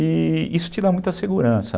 E isso te dá muita segurança.